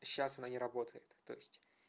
сейчас она не работает то есть